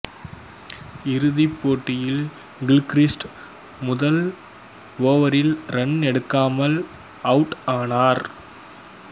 இறுதி போட்டியில் கில்க்ரிஸ்ட் முதல் ஓவரில் ரன் எடுக்காமல் அவுட் ஆனார்